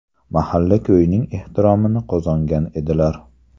Mahalla-ko‘yning ehtiromini qozongan edilar.